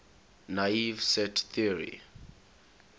naive set theory